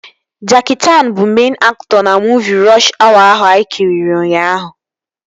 Jackie Chaan bụ meịn aktọ na muuvi Rọsh Awa ahụ anyị kiri ụnyaahụ